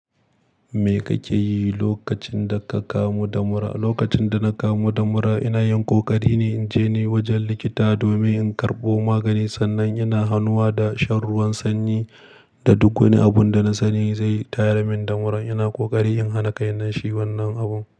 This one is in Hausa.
Me kake yi lokacin da ka kamu da mura? Lokacin da na kamu da mura, ina yin ƙoƙari ne in je ni wajen likita domin in karɓo magani. Sannan ina hanuwa da shan ruwan sanyi da duk wani abun da na sani zai tayar min da muran. Ina ƙoƙari in hana kaina shi wannan abun.